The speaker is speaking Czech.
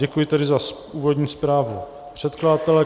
Děkuji tedy za úvodní zprávu předkladatele.